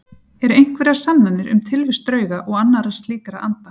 Eru einhverjar sannanir um tilvist drauga og annarra slíkra anda?